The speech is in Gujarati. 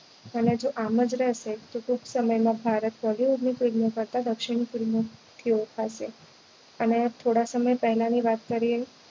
અને જો આમ જ રહેશે તો ટૂંક સમય માં ભારત bollywood ની film કરતા દક્ષિણી film ઓ થી ઓળખાશે અને થોડા સમય પહેલા ની વાત કરીએ તો